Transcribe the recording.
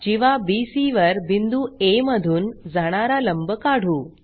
जीवा BC वर बिंदू आ मधून जाणारा लंब काढू